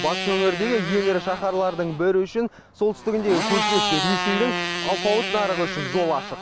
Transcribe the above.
батыс өңірдегі ең ірі шаһарлардың бірі үшін солтүстігіндегі көршілес ресейдің алпауыт нарығы үшін жол ашық